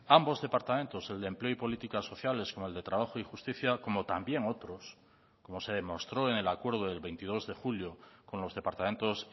ambos departamentos el de empleo y políticas sociales con el de trabajo y justicia como también otros como se demostró en el acuerdo del veintidós de julio con los departamentos